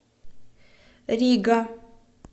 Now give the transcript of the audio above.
рига